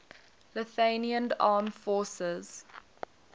lithuanian armed forces